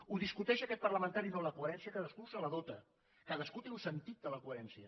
ho discuteix aquest parlamentari no la coherència cadascú se la dota cadascú té un sentit de la coherència